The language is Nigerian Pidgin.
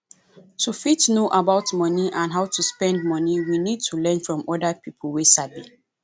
to fit know about money and how to spend money we need to learn from oda pipo wey sabi